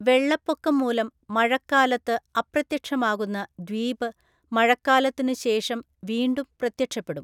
വെള്ളപ്പൊക്കം മൂലം മഴക്കാലത്ത് അപ്രത്യക്ഷമാകുന്ന ദ്വീപ് മഴക്കാലത്തിനുശേഷം വീണ്ടും പ്രത്യക്ഷപ്പെടും.